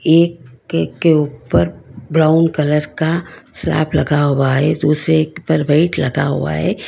एक के ऊपर ब्राउन कलर स्लैब लगा हुआ है दूसरे पर वेट लगा हुआ है।